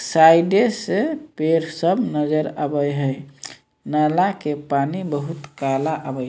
साइडे से पेड़ सब नज़र आवै है नाला के पानी बहुल काला आवै।